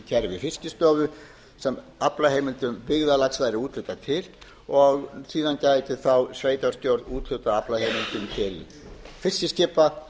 gervi fiskistofu sem aflaheimildum byggðarlags væri úthlutað til og síðan gæti þá sveitarstjórn úthlutað aflaheimildum til fiskiskipa